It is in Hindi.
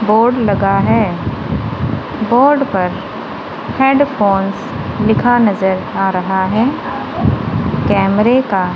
बोर्ड लगा है बोर्ड पर हेडफोनस लिखा नजर आ रहा है कैमरे का--